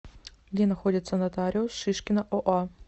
где находится нотариус шишкина оа